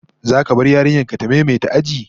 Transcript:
Zaka bar yarinyar ka ta maimaita aji?